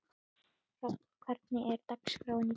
Hrafn, hvernig er dagskráin í dag?